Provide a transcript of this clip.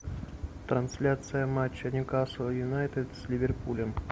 трансляция матча ньюкасл юнайтед с ливерпулем